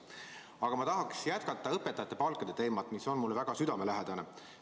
Aga ma tahan jätkata õpetajate palkade teemat, mis on mulle väga südamelähedane.